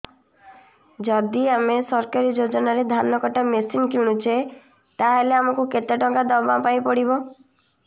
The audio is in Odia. ଯଦି ଆମେ ସରକାରୀ ଯୋଜନାରେ ଧାନ କଟା ମେସିନ୍ କିଣୁଛେ ତାହାଲେ ଆମକୁ କେତେ ଟଙ୍କା ଦବାପାଇଁ ପଡିବ